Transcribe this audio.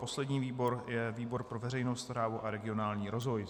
Poslední výbor je výbor pro veřejnou správu a regionální rozvoj.